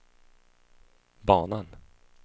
banan